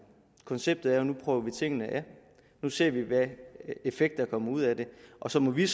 konceptet er at nu prøver vi tingene af nu ser vi hvilken effekt der kommer ud af det og så må vi